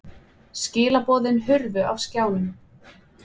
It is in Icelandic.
Skilaboðin hurfu af skjánum.